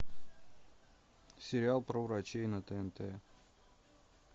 сериал про врачей на тнт